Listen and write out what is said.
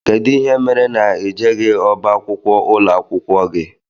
Kedụ ihe mere na i jeghi ọbá akwụkwọ ụlọakwụkwọ gị?